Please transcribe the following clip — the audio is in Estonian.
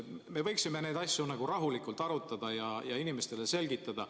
Me võiksime neid asju rahulikult arutada ja inimestele selgitada.